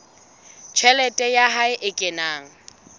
tjhelete ya hae e kenang